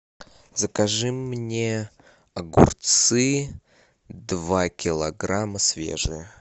закажи мне огурцы два килограмма свежие